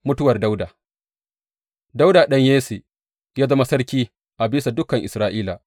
Mutuwar Dawuda Dawuda ɗan Yesse ya zama sarki a bisa dukan Isra’ila.